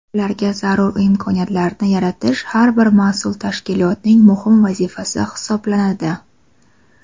Ularga zarur imkoniyatlarni yaratish har bir mas’ul tashkilotning muhim vazifasi hisoblanadi.